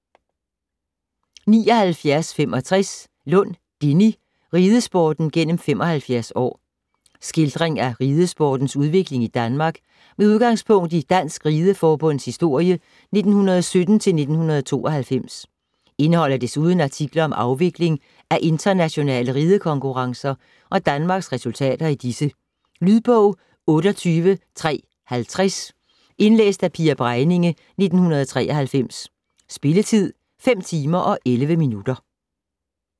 79.65 Lund, Dinny: Ridesporten gennem 75 år Skildring af ridesportens udvikling i Danmark med udgangspunkt i Dansk Ride Forbunds historie 1917-1992. Indeholder desuden artikler om afvikling af internationale ridekonkurrencer og Danmarks resultater i disse. Lydbog 28350 Indlæst af Pia Bregninge, 1993. Spilletid: 5 timer, 11 minutter.